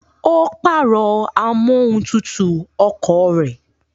Ó pàrọ̀ amóhuntutù ọkọ̀ rẹ̀